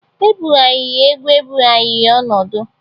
E bugharịa egwu ebugharịa ọnọdụ